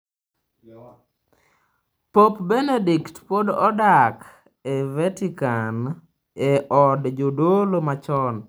Pop Benedict pod odak e Vatican e od jodolo machon.